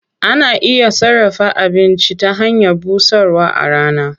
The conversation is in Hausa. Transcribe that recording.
Ana iya sarrafa abinci ta hanyar busarwa a rana.